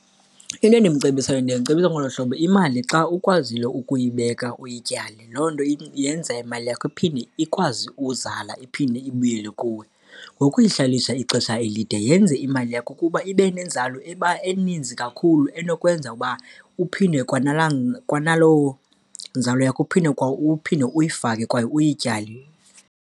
Into endimcebisayo ndiye ndicebise ngolu hlobo, imali xa ukwazile ukuyibeka uyityale, loo nto yenza imali yakho ikwazi uzala iphinde ibuyele kuwe. Ngokuyihlalisa ixesha elide yenza imali yakho ukuba ibe nenzalo eninzi kakhulu enokwenza uba uphinde kwanaloo nzala yakho uphinde uyifake kwaye uyityale.